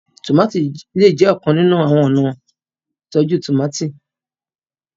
tomati lẹẹ jé ọkan nínú àwọn ọna ìtọjú tomati